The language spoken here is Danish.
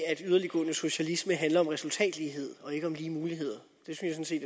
at yderliggående socialisme handler om resultatlighed og ikke om lige muligheder det synes jeg